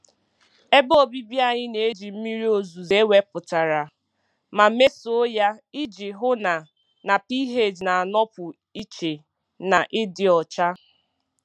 Ebe obibi anyị na-eji mmiri ozuzo ewepụtara ma mesoo ya iji hụ na na pH na-anọpụ iche na ịdị ọcha.